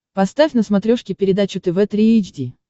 поставь на смотрешке передачу тв три эйч ди